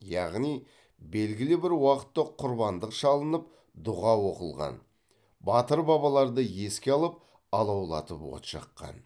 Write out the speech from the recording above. яғни белгілі бір уақытта құрбандық шалынып дұға оқылған батыр бабаларды еске алып алаулатып от жаққан